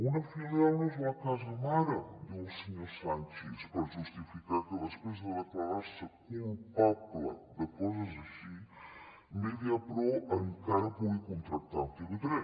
una filial no és la casa mare diu el senyor sanchis per justificar que després de declarar se culpable de coses així mediapro encara pugui contractar amb tv3